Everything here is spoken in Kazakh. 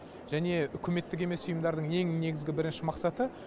және үкіметтік емес ұйымдардың ең негізгі бірінші мақсаты